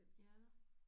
Ja